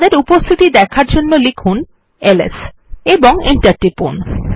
তাদের উপস্থিতি দেখার জন্য লিখুন এলএস এবং এন্টার টিপুন